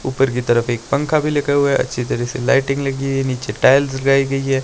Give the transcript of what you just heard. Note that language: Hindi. ऊपर की तरफ एक पंखा भी लगा हुआ है अच्छी तरह से लाइटिंग लगी है नीचे टाइल्स लगाई गई है।